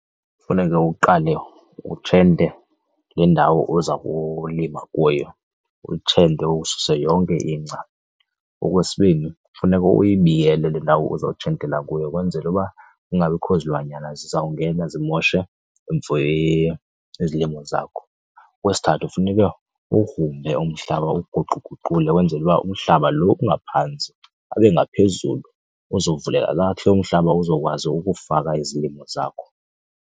Kufuneke uqale utshente le ndawo uza kulima kuyo, uyintshente ususe yonke ingca. Okwesibini, funeka uyibiyele le ndawo uzawutshentela kuyo kwenzela uba kungabikho zilwanyana zizawungena zimoshe izilimo zakho. Okwesithathu, funeka uwugrumbe umhlaba uwuguquguqule ukwenzela uba umhlaba lo ungaphantsi abe ngaphezulu, uzovuleka kakuhle umhlaba uzokwazi ukufaka izilimo zakho.